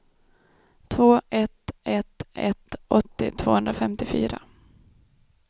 två ett ett ett åttio tvåhundrafemtiofyra